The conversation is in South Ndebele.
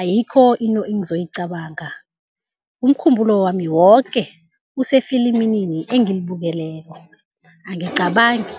ayikho into engizoyicabanga, umkhumbulo wami woke usefilimini engilibukeleko, angicabangi.